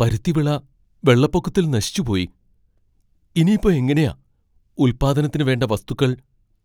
പരുത്തി വിള വെള്ളപ്പൊക്കത്തിൽ നശിച്ചുപോയി, ഇനി ഇപ്പോ എങ്ങനെയാ ഉല്പാദനത്തിന് വേണ്ട വസ്തുക്കൾ